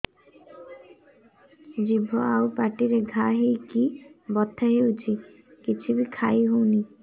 ଜିଭ ଆଉ ପାଟିରେ ଘା ହେଇକି ବଥା ହେଉଛି କିଛି ବି ଖାଇହଉନି